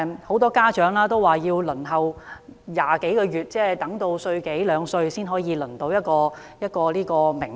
很多家長說要輪候20多個月，即嬰兒到了一歲多兩歲才獲得名額。